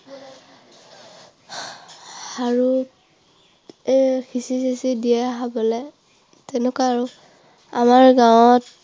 আৰু এৰ খিচিৰি চিছিৰি দিয়ে খাবলৈ। তেনেকুৱা আৰু। আমাৰ গাঁৱত